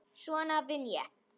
Svona vinn ég.